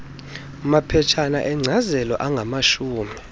maphetshana enkcazelo angamashumi